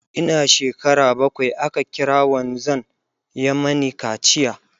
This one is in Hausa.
Ina shekara bakwai aka kira wanzan ya Mani kaciya